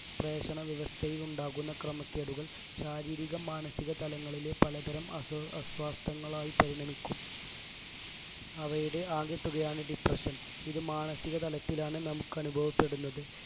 പ്രേക്ഷണവ്യവസ്ഥയിൽ ഉണ്ടാകുന്ന ക്രമക്കേടുകൾ ശാരീരിക മാനസിക തലങ്ങളിലെ പലതരം അസ് അസ്വസ്തങ്ങളായി പരിണമിക്കും അവയുടെ ആകെത്തുകയാണ് depression ഇത് മനസികതതലത്തിലാണ് നമുക്ക് അനുഭവപ്പെടുന്നത്